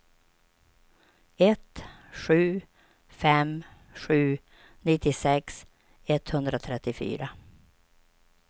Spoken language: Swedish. ett sju fem sju nittiosex etthundratrettiofyra